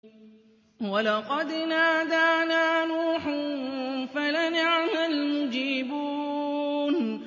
وَلَقَدْ نَادَانَا نُوحٌ فَلَنِعْمَ الْمُجِيبُونَ